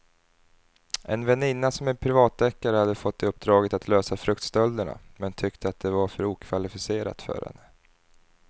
En väninna som är privatdeckare hade fått uppdraget att lösa fruktstölderna men tyckte att det var för okvalificerat för henne.